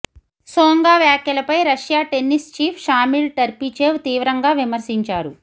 సోంగా వ్యాఖ్యలపై Russia tennis chief Shamil Tarpishchev తీవ్రంగా విమర్శించారు